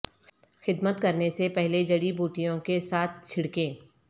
خدمت کرنے سے پہلے جڑی بوٹیوں کے ساتھ چھڑکیں